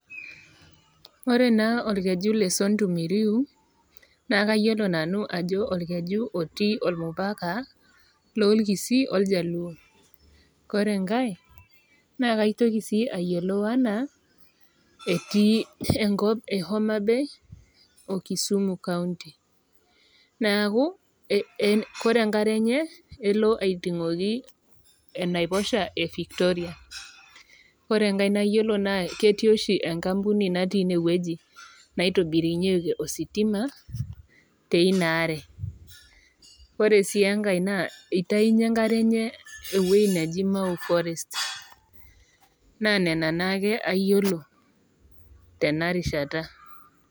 Ore naa olkeju le Sondu miriu naa layiolo nanu ajo olkeju otii olmupaka loo ilkisii oljaluo . Ore enkai naa kaitoko naa ayiolo anaa etii enko e Homabay o kisuma county neaku Kore enkare enye elo aiting'oki enaiposha e Victoria. Ore enkai nayioulo naa ketii oshi enkampuni natii inewueji naitobirunyeki ositima te Ina aare. Ore sii enkai naa eitayunye enkare enye ewueji naji mau forest. Naa Nena naake ayiolo tena rishata.